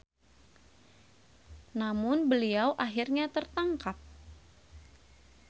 Namun beliau akhirnya tertangkap.